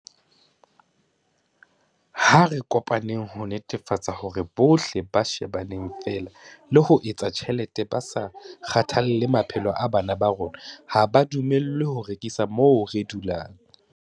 Ha re kopaneng ho netefatsa hore bohle ba shebaneng feela le ho etsa tjhelete ba sa kgathalle maphelo a bana ba rona ha ba dumellwe ho rekisa moo re dulang.